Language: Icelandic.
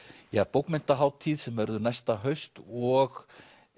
bókmenntahátíð sem verður næsta haust og